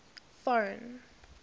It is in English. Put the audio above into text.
foreign